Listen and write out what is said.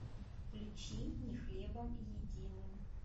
включи не хлебом единым